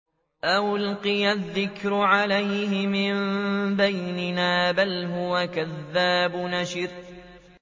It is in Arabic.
أَأُلْقِيَ الذِّكْرُ عَلَيْهِ مِن بَيْنِنَا بَلْ هُوَ كَذَّابٌ أَشِرٌ